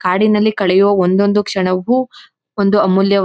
ಕಾಡಿನಲ್ಲಿ ಕಳೆಯುವ ಒಂದೊಂದು ಕ್ಷಣವೂ ಒಂದು ಅಮೂಲ್ಯ--